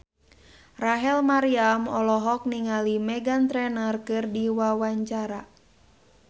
Rachel Maryam olohok ningali Meghan Trainor keur diwawancara